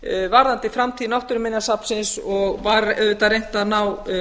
varðandi framtíð náttúruminjasafnsins og var auðvitað reynt að ná